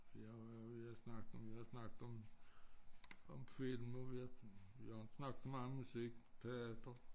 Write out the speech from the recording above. Jeg vi har snakket om vi har snakket om om film nu vi har vi har jo inte snakket meget om musik teater